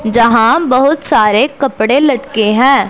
जहां बहुत सारे कपड़े लटके हैं।